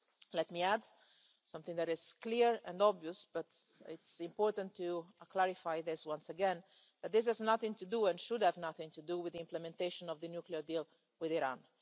Let me add something that is clear and obvious, but it is important to clarify this once again, that this has nothing to do and should have nothing to do with the implementation of the nuclear deal with Iran.